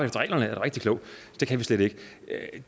reglerne er du rigtig klog det kan vi slet ikke